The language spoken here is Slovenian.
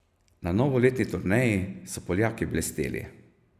Na novoletni turneji so Poljaki blesteli.